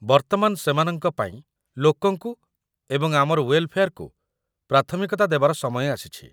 ବର୍ତ୍ତମାନ ସେମାନଙ୍କ ପାଇଁ ଲୋକଙ୍କୁ ଏବଂ ଆମର ୱେଲ୍‌ଫେଆର୍‌କୁ ପ୍ରାଥମିକତା ଦେବାର ସମୟ ଆସିଛି ।